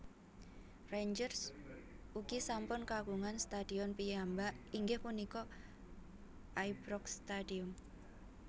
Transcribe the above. Rangers ugi sampun kagungan stadion piyambak inggih punika Ibrox Stadium